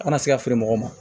A kana se ka feere mɔgɔw ma